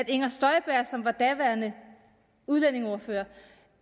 inger støjberg som var daværende udlændingeordfører